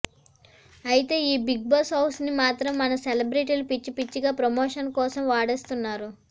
అయితే ఈ Bigg Boss house ని మాత్రం మన సెలబ్రిటీలు పిచ్చి పిచ్చిగా ప్రమోషన్ కోసం వాడేస్తున్నారు